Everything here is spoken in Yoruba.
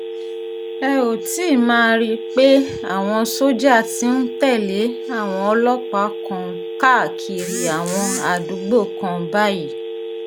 ẹ óò ti máa rí i pé àwọn sójà ti ń tẹ̀lé àwọn ọlọ́pàá kan káàkiri àwọn àdúgbò kan báyìí